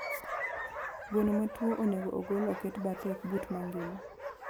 gweno matuo onego ogol oket bathe okbut mangima.